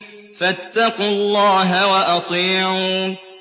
فَاتَّقُوا اللَّهَ وَأَطِيعُونِ